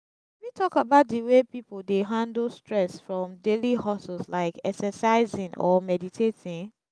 you fit talk about di way people dey handle stress from daily hustles like exercising or meditating?